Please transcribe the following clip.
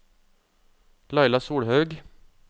Laila Solhaug